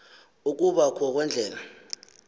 ukuba kho kweendlela